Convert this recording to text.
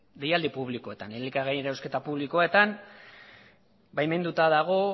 deialdi publikoetan elikagaien erosketa publikoetan baimenduta dago